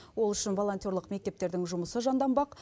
ол үшін волонтерлық мектептердің жұмысы жанданбақ